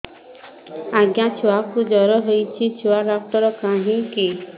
ଆଜ୍ଞା ଛୁଆକୁ ଜର ହେଇଚି ଛୁଆ ଡାକ୍ତର କାହିଁ କି